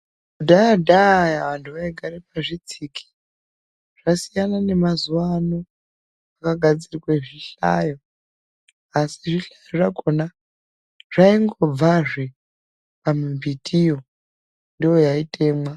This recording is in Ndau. Kudhaya-dhaya vantu vaigara pazvitsiki zvasiyana nemazuva ano kwagadzirwe zvihlayo. Asi zvihlayo zvakona zvaingobvazve pambitiyo ndiyo yaitemwa.